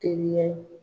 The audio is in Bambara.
Teliya